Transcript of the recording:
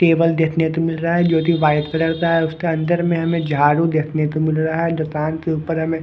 table देखने को मिल रहा है जो कि वाइट कलर का है उसका अंदर में हमें झाड़ू देखने को मिल रहा है दुकान के ऊपर हमें--